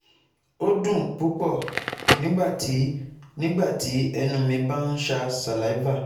O n dun pupọ nigbati nigbati ẹnu mi ba n ṣa saliva